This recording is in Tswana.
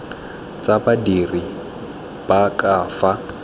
tsa badiri ba ka fa